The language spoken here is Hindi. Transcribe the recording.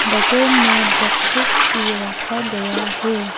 बगल में बॉक्सेस भी रखा गया है।